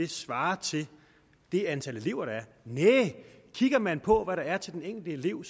svarer til det antal elever der er næh kigger man på hvad der er til den enkelte elev